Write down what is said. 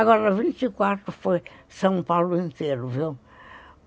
Agora vinte e quatro foi São Paulo inteiro, viu?